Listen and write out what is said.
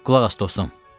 Qulaq as dostum.